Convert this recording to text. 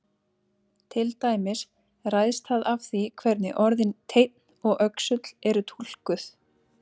Til dæmis ræðst það af því hvernig orðin teinn og öxull eru túlkuð.